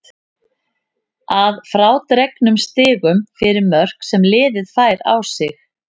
Að frádregnum stigum fyrir mörk sem liðið fær á sig.